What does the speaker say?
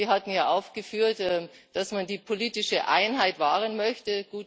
Sie hatten ja aufgeführt, dass man die politische Einheit wahren möchte.